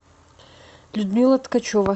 людмила ткачева